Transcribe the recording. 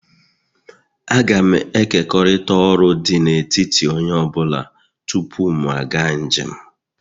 Agam ekekọrịta ọrụ dị n'etiti onye ọ bụla tupu m aga njem